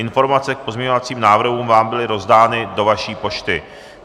Informace k pozměňovacím návrhům vám byly rozdány do vaší pošty.